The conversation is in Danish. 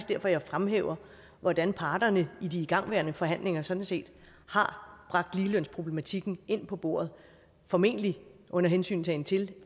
derfor jeg fremhæver hvordan parterne i de igangværende forhandlinger sådan set har bragt ligelønsproblematikken ind på bordet formentlig under hensyntagen til